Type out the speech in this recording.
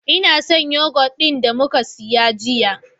Ina son yoghurt ɗin da muka siya jiya.